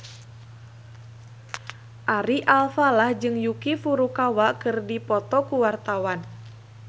Ari Alfalah jeung Yuki Furukawa keur dipoto ku wartawan